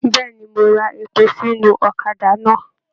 Bẹẹni, mo rà èpò sínú ọ̀kàdà náà.